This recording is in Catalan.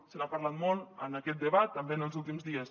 se n’ha parlat molt en aquest debat també en els últims dies